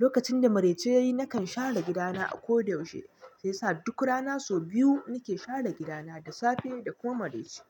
lokacin da marai ce yayi nakan share gida na a ko da yaushe. Sai sa duk rana sau biyu nake share gidana da safe da kuma maraice.